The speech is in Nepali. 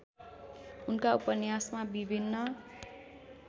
उनका उपन्यासमा विभिन्न